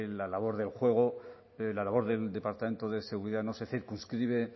la labor del juego la labor del departamento de seguridad no se circunscribe